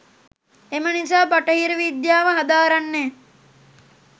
එම නිසා බටහිර විද්‍යාව හදාරන්නේ